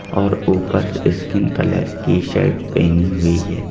और ऊपर skin colour की शर्ट पहनी हुई है।